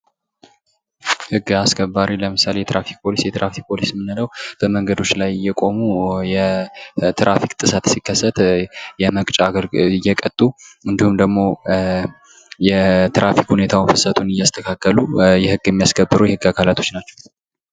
ህግ አስከባሪ ለምሳሌ የትራፊክ ፖሊስ የትራፊክ ፖሊስ የምንለው በመንገዶች ላይ እየቆሙ የትራፊክ ጥሰት ሲከሰት እየቀጡ እንዲሁም ደሞ የትራፊክ ሁኔታውን ፍሰቱን እያስተካከሉ ህግ የሚያሰከብሩ የህግ አካላቶች ናቸው።